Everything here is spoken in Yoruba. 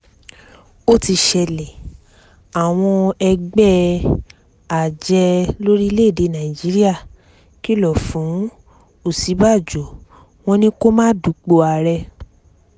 ó ti ṣẹlẹ̀ àwọn ẹgbẹ́ ajé lórílẹ̀‐èdè nàíjíríà kìlọ̀ fún òsínbàbò wọn ni kó má dupò ààrẹ